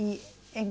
E em